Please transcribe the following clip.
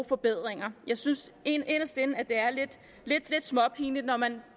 forbedringer jeg synes inderst inde at det er lidt småpinligt når man